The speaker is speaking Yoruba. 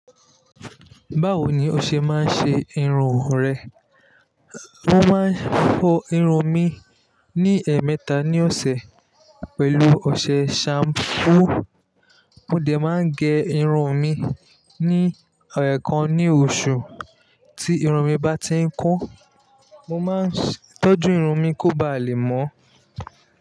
Báwo ni o ṣe máa ń ṣe irun rẹ? Mo máa ń fọ irun mi ní ẹ̀ẹ̀mẹta ní ọ̀sẹ̀ pẹ̀lú ọṣẹ ṣampú. Mo dẹ̀ máa ń gẹ irun mi ní ẹ̀ẹ̀kan ní oṣù. Tí irun mi bá ti ń kún, mo máa ń tọ́jú irun mi kó ba lè mọ́